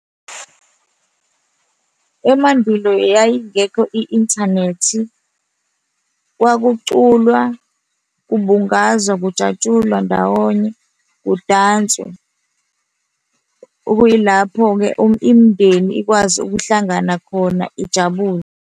Emandulo yayingekho i-inthanethi. Kwakuculwa kubungazwa kujatshulwa ndawonye kudanswe, okuyilapho-ke imindeni ikwazi ukuhlangana khona ijabule.